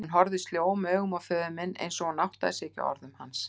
Hún horfði sljóum augum á föður minn einsog hún áttaði sig ekki á orðum hans.